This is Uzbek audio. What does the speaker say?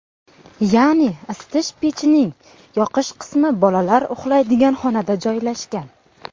Ya’ni isitish pechining yoqish qismi bolalar uxlaydigan xonada joylashgan.